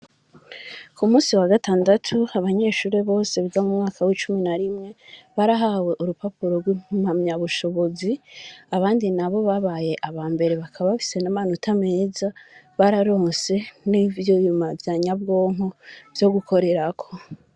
Ku musi wagatandatu abanyeshuri bose biga mu mwaka w'icumi na rimwe barahawe urupapuro rw'impamya bushobozi abandi nabo babaye abambere bakaba bafise n'amanota meza bararonse nivyo vyuma vya nyabwonko vyo gukorerako.